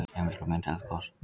Heimildir og mynd Eldgos.